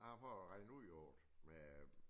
Jeg har prøvet at regne ud i året med